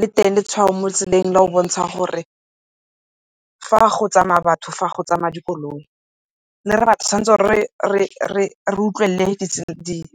Le teng letshwao mo tseleng la go bontsha gore fa go tsamaya batho, fa go tsamaya dikoloi. re utlwelele